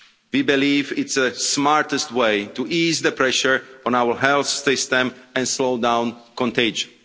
We believe it's the smartest way to ease the pressure on our health system and slow down contagion.